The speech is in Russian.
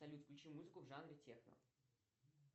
салют включи музыку в жанре техно